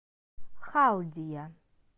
халдия